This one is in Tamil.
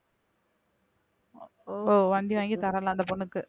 ஓ வண்டி வாங்கி தரலை அந்த பொண்ணுக்கு